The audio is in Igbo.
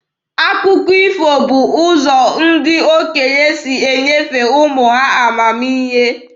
Akụkọ ifo bụ ụzọ ndị okenye si enyefe ụmụ ha amamihe.